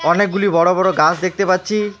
অনেকগুলি বড়ো বড়ো গাছ দেখতে পাচ্ছি।